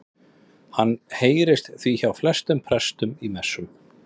Hann heyrist því hjá flestum prestum í messum.